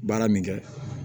Baara min kɛ